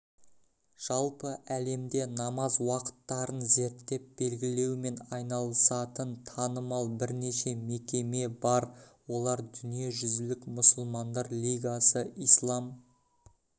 жалпы әлемде намаз уақыттарын зерттеп белгілеумен айналысатын танымал бірнеше мекеме бар олар дүниежүзілік мұсылмандар лигасы ислам